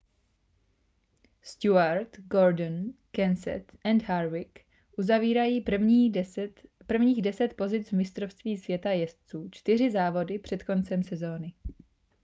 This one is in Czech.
stewart gordon kenseth a harvick uzavírají prvních deset pozic v mistrovství světa jezdců čtyři závody před koncem sezóny